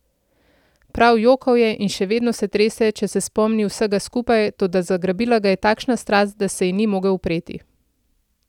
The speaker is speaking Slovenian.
Prav jokal je in še vedno se trese, če se spomni vsega skupaj, toda zagrabila ga je takšna strast, da se ji ni mogel upreti.